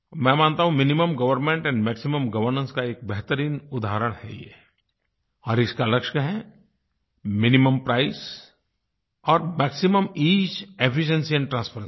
मैं मानता हूँ minimum government and maximum governance का एक बेहतरीन उदहारण है ये और इसका लक्ष्य क्या है मिनिमम प्राइस और maximum ease efficiency and transparency